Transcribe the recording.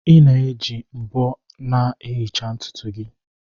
Ị na-eji mbo na-ehicha ntutu gị